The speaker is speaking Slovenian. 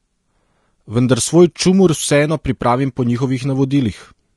Vendar svoj čumur vseeno pripravim po njihovih navodilih.